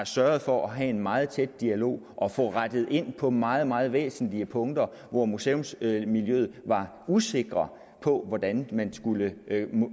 sørget for at have en meget tæt dialog og få rettet ind på meget meget væsentlige punkter hvor museumsmiljøet var usikker på hvordan man skulle